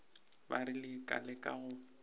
ba rile ka leka go